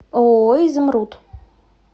ооо изумруд